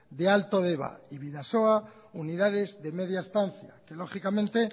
de alto deba y bidasoa unidades de media estancia que lógicamente